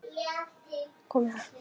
En nú þorði ég það ekki.